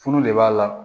Furu de b'a la